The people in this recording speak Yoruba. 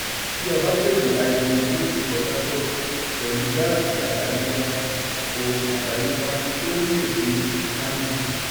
bí a bá pèsè háídírójìn ní port harcourt pẹ̀lú gáásì àdáyébá ó àdáyébá ó nílò dé kánò.